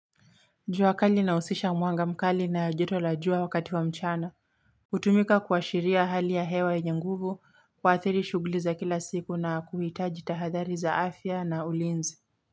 Jua kali ina husisha mwanga mkali na joto la jua wakati wa mchana. Hutumika kuashiria hali ya hewa yenye nguvu, kuathiri shughuli za kila siku na kuhitaji tahadhali za afya na ulinzi.